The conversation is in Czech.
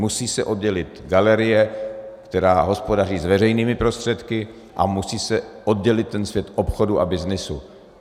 Musí se oddělit galerie, která hospodaří s veřejnými prostředky, a musí se oddělit ten svět obchodu a byznysu.